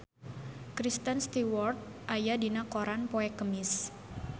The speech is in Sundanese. Kristen Stewart aya dina koran poe Kemis